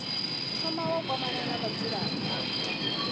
thoma wa kwamana na vhadzulapo